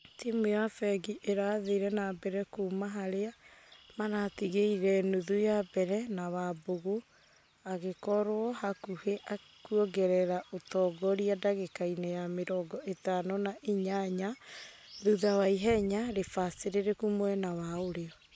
Timũ ya fengi ĩrathire na mbere kuma harĩa maratĩgeire nuthu ya mbere na wambugu agĩkorwo hakuhĩ kũongerera ũtongoria dagĩka-inĩ ya mĩrongo itano na inyanya thutha wa ihenya rĩbacĩrĩrĩku mwena wa ũrio.